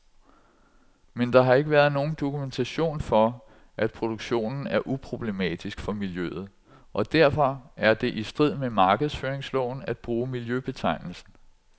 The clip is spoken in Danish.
Men der har ikke været nogen dokumentation for, at produktionen er uproblematisk for miljøet, og derfor er det i strid med markedsføringsloven at bruge miljøbetegnelsen.